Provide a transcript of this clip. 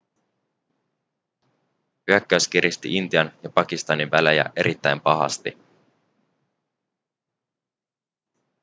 hyökkäys kiristi intian ja pakistanin välejä erittäin pahasti